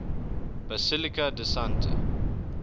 basilica di santa